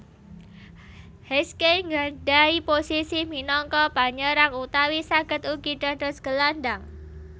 Heskey nggadhahi posisi minangka panyerang utawi saged ugi dados gelandhang